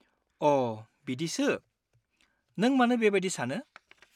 अ, बिदिसो। नों मानो बेबायदि सानो?